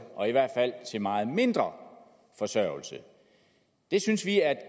og i hvert fald til meget mindre forsørgelse det synes vi er